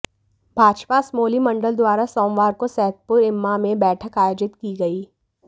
भाजपा असमोली मंडल द्वारा सोमवार को सैदपुर इम्मा में बैठक आयोजित की गई